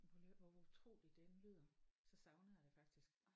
Men prøv lige at hør hvor utroligt det end lyder så savner jeg det faktisk